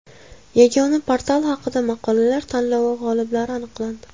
Yagona portal haqida maqolalar tanlovi g‘oliblari aniqlandi.